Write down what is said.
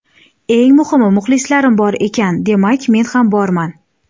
Eng muhimi, muxlislarim bor ekan, demak, men ham borman.